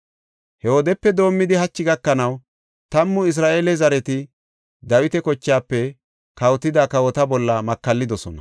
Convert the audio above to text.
He wodepe doomidi hachi gakanaw tammu Isra7eele zareti Dawita kochaafe kawotida kawota bolla makallidosona.